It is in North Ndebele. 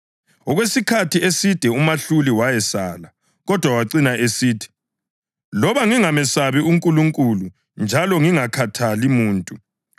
Okwesikhathi eside umahluli wayesala. Kodwa wacina esithi, ‘Loba ngingamesabi uNkulunkulu njalo ngingakhathali ngomuntu,